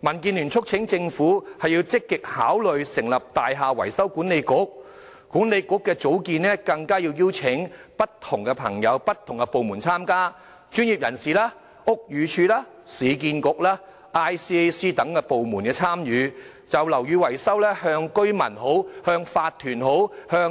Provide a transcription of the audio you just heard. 民建聯促請政府積極考慮成立"大廈維修管理局"，而管理局應邀請不同界別人士、不同部門參加，包括專業人士、屋宇署、市建局、廉署等部門，就樓宇維修向居民、法團、